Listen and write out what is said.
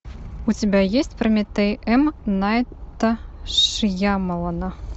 у тебя есть прометей м найта шьямалана